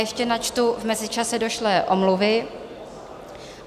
Ještě načtu v mezičase došlé omluvy.